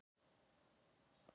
Melavöllum